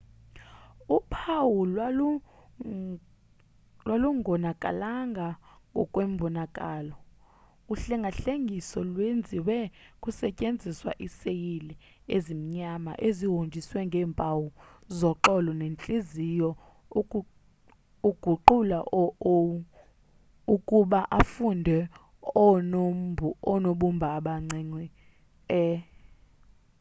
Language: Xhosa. uphawu lwalungonakalanga ngokwembonakalo uhlengahlengiso lwenziwe kusetyenziswa iiseyile ezimnyama ezihonjiswe ngeempawu zoxolo nentliziyo ukuguqula u o ukuba afunde oonobumba abancinci e